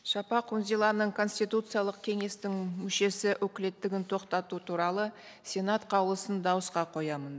шапақ үнзиланың конституциялық кеңестің мүшесі өкілеттігін тоқтату туралы сенат қаулысын дауысқа қоямын